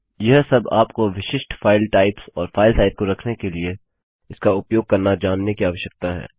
यह सब आपको विशिष्ट फाइल टाइप्स और फाइल साइज को रखने के लिए इसका उपयोग करना जानने की आवश्यकता है